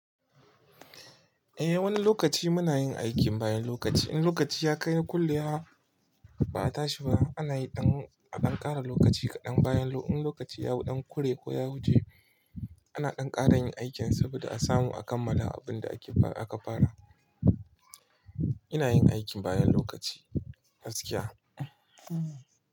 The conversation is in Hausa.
Eh, wani lokaci muna yin aikim bayan lokaci in lokaci yakai kullewa ba a tashi wa ana yi ɗan a ɗan ƙara lokaci kaɗan bayan lo in lokaci yau ɗan kure ko ya wuje ana ɗan ƙara yin aikin saboda a samu a kammala abinda akefa aka fara. Ina yin aikin bayan lokaci gaskiya.